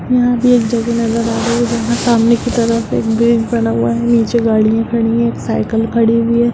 यहां भी एक जगह नजर आ रही है जहां सामने की तरफ एक ग्रीन पहना हुआ है नीचे गाड़ियां खड़ी हुई है साइकल खड़ी हुई है।